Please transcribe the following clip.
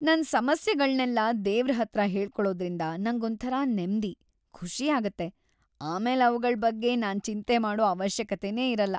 ನನ್ ಸಮಸ್ಯೆಗಳ್ನೆಲ್ಲ ದೇವ್ರ್‌ ಹತ್ರ ಹೇಳ್ಕೊಳೋದ್ರಿಂದ ನಂಗೊಂಥರ ನೆಮ್ದಿ, ಖುಷಿ ಆಗತ್ತೆ, ಆಮೇಲ್‌ ಅವ್ಗಳ್‌ ಬಗ್ಗೆ ನಾನ್ ಚಿಂತೆ ಮಾಡೋ ಅವಶ್ಯಕತೆನೇ ಇರಲ್ಲ.